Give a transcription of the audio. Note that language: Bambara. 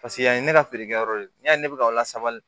Paseke an ye ne ka feere kɛ yɔrɔ de ye n y'a ye ne bɛ ka o lasabali